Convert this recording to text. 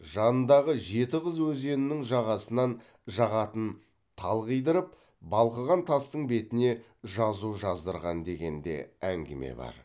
жанындағы жеті қыз өзенінің жағасынан жағатын тал қидырып балқыған тастың бетіне жазу жаздырған деген де әңгіме бар